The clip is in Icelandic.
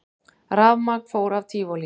Rafmagn fór af Tívolí